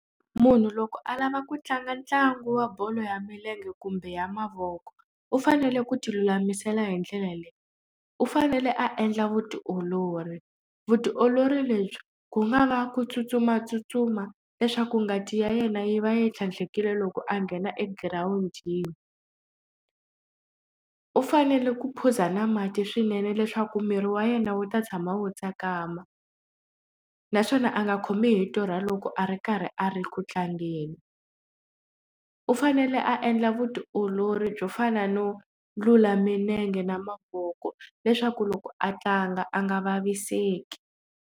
Munhu loko a lava ku tlanga ntlangu wa bolo ya milenge kumbe ya mavoko u fanele ku ti lulamisela hi ndlela leyi u fanele a endla vutiolori vutiolori lebyi ku nga va ku tsutsumatsutsuma leswaku ngati ya yena yi va yi tlhandlekerile loko a nghena egirawundini u fanele ku phuza na mati swinene leswaku miri wa yena wu ta tshama wu tsakama naswona a nga khomiwi hi torha loko a ri karhi a ri ku tlangeni u fanele a endla vutiolori byo fana no lula minenge na mavoko leswaku loko a tlanga a nga vaviseki.